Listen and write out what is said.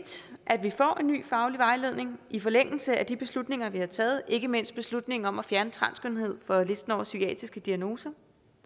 at vi får en ny faglig vejledning i forlængelse af de beslutninger vi har taget ikke mindst beslutningen om at fjerne transkønnethed fra listen over psykiatriske diagnoser